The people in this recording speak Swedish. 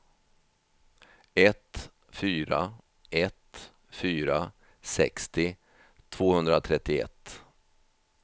ett fyra ett fyra sextio tvåhundratrettioett